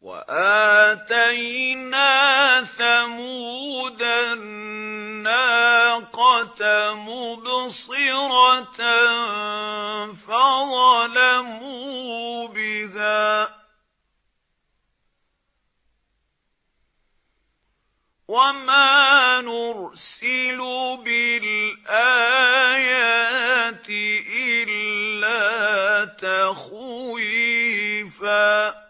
وَآتَيْنَا ثَمُودَ النَّاقَةَ مُبْصِرَةً فَظَلَمُوا بِهَا ۚ وَمَا نُرْسِلُ بِالْآيَاتِ إِلَّا تَخْوِيفًا